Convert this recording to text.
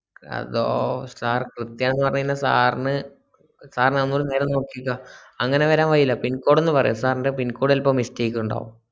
sir sirന്sir ഒന്നൂടി നേരെ നോക്കീക്കാ അങ്ങനെ വരാൻ വഴിയില്ല pincode ഒന്നു പറയോ sir ന്റെ pincode ചെലപ്പോ mistake ണ്ടാകും